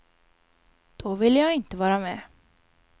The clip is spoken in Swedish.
Då ville jag inte vara med.